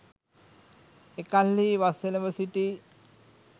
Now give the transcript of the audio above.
එකල්හී වස් එළඹ සිටි